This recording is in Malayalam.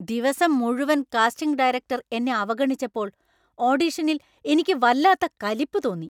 ദിവസം മുഴുവൻ കാസ്റ്റിംഗ് ഡയറക്ടർ എന്നെ അവഗണിച്ചപ്പോൾ ഓഡിഷനിൽ എനിക്ക് വല്ലാത്ത കലിപ്പ് തോന്നി.